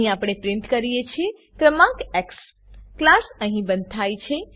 અહીં આપણે પ્રીંટ કરીએ છીએ ક્રમાંક એક્સ ક્લાસ અહીં બંધ થાય છે